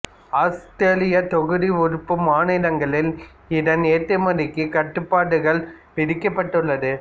Australia தொகுதி உறுப்பு மாநிலங்களில் இதன் ஏற்றுமதிக்கு கட்டுப்பாடுகள் விதிக்கப்பட்டுள்ளது